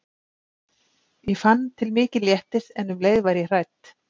Ég fann til mikils léttis en um leið var ég hrædd.